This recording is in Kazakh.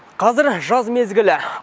қазір жаз мезгілі